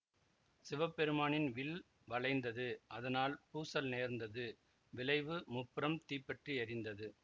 சிவபெருமானின் வில் வளைந்தது அதனால் பூசல் நேர்ந்தது விளைவு முப்புறம் தீப்பற்றி எறிந்த்து